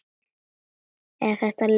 Eða er þetta leti?